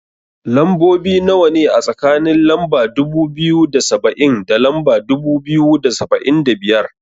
Lambobi nawa ne, a tsakanin lamba dubu biyu da saba'in da lamba dubu biyu da saba'in da biyar?